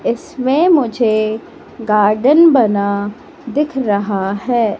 इसमें मुझे गार्डन बना दिख रहा है।